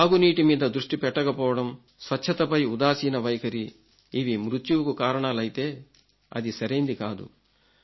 తాగునీటి మీద దృష్టి పెట్టకపోవడం స్వచ్ఛతపై ఉదాసీన వైఖరి ఇవి మృత్యువుకు కారణాలైతే అది సరైంది కాదు